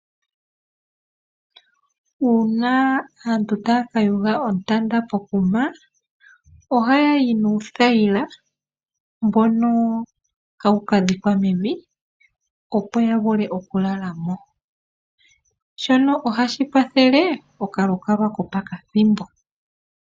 Uuna aantu taya ka yuga oontanda pe hala lyo ntumba, aantu oha yayi nuu thayila mboka ha wu ka dhikwa mevi opo ya vule oku lala mo.shono ohashi Kwa thele oka lukalwa ko po kathimbo.